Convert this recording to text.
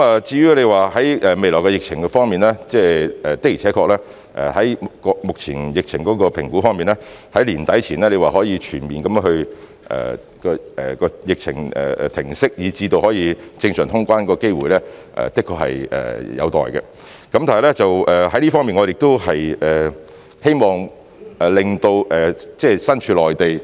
至於未來的疫情方面，按目前對疫情的評估，在年底前疫情能否全面停息，以至可以有正常通關的機會，的確是有待觀察，但在這方面，我們希望令身處內地......